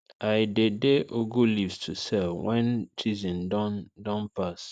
i dey dey ugu leaves to sell when the season don don pass